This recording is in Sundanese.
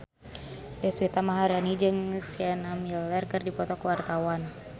Deswita Maharani jeung Sienna Miller keur dipoto ku wartawan